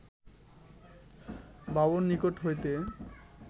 বাবুর নিকট হইতে